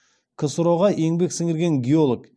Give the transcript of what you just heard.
ксро ға еңбек сіңірген геолог